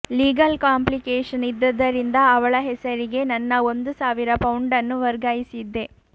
legal complication ಇದ್ದದ್ದರಿಂದ ಅವಳ ಹೆಸರಿಗೆ ನನ್ನ ಒಂದು ಸಾವಿರ ಪೌಂಡನ್ನು ವರ್ಗಾಯಿಸಿದ್ದೆ